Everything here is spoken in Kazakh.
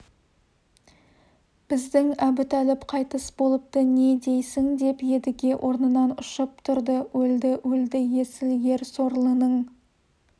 біздің әбутәліп қайтыс болыпты не дейсің деп едіге орнынан ұшып тұрды өлді өлді есіл ер сорлының